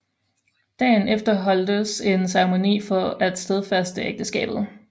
Dagen efter holdtes en ceremoni for at stadfæste ægteskabet